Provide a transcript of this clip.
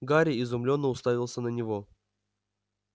гарри изумлённо уставился на него